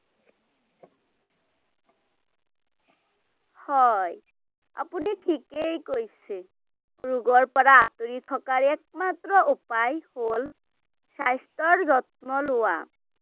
হয়, আপুনি ঠিকেই কৈছে, ৰোগৰ পৰা আঁতৰি থকাৰ একমাত্ৰ উপায় হ’ল স্বাস্থ্যৰ যত্ন লোৱা ৷